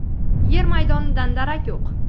yer maydonidan darak yo‘q.